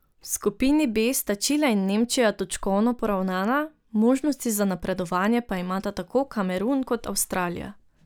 V skupini B sta Čile in Nemčija točkovno poravnana, možnosti za napredovanje pa imata tako Kamerun kot Avstralija.